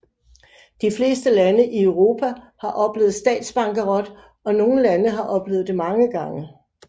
De fleste lande i Europa har oplevet statsbankerot og nogle lande har oplevet det mange gange